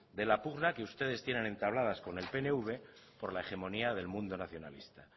de la pugna que ustedes tienen entabladas con el pnv por la hegemonía del mundo nacionalista